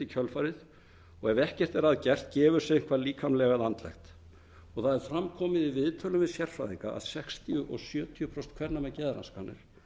kjölfarið og ef ekkert er að gert gefur sig eitthvað líkamlegt eða andlegt það hefur fram komið í viðtölum við sérfræðinga að sextíu til sjötíu prósent kvenna með geðraskanir